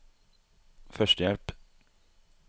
førstehjelp